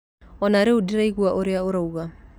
O na rĩu ndiraigua ũrĩa ũroiga.